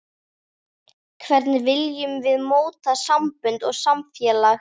Hvernig viljum við móta sambönd og samfélag?